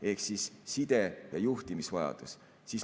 Ehk siis side‑ ja juhtimisvajadus.